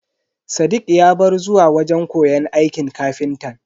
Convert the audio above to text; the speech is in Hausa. Sadiq ya bar zuwa wajen koyon aikin ƙafintan.